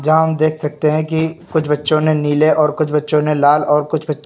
जहां हम देख सकते हैं कि कुछ बच्चों ने नीले और कुछ बच्चों ने लाल और कुछ बच् --